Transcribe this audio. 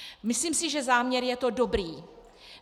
Myslím si, že záměr je to dobrý.